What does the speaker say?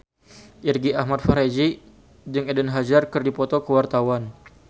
Irgi Ahmad Fahrezi jeung Eden Hazard keur dipoto ku wartawan